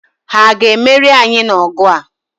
Ha a ga-emeri anyị n'ọgụ a?